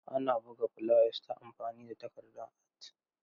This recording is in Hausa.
Ana buga fulayas ta amfani da takardan at.